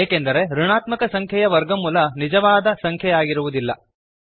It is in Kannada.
ಏಕೆಂದರೆ ಋಣಾತ್ಮಕ ಸಂಖ್ಯೆಯ ವರ್ಗಮೂಲ ನಿಜವಾದ ವಾಸ್ತವಿಕ ಸಂಖ್ಯೆಯಾಗಿರುವುದಿಲ್ಲ